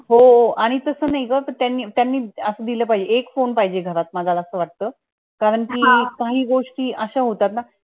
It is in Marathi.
हो, आणि तस नाईग त्यांनी त्यांनी असं दिल पाहिजे एक phone पाहिजे घरात मला असं वाटतं, कारण कि काही गोष्टी अशा होतात ना